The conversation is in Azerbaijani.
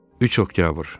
3 Oktyabr.